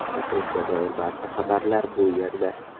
Tashrifga doir barcha xabarlar bu yerda .